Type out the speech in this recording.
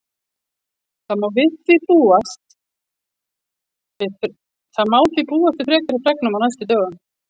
Það má því búast við frekari fregnum á næstu dögum.